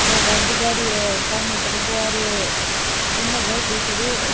दो गाड़ी जा री है समने दरबो आ रे है उनने घर दिख रे है।